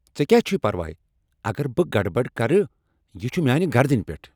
ژےٚ کیٛاہ چھُے پروا؟ اگر بہٕ گڑبڑ کر یہ چھ میانہ گردنہ پیٹھ۔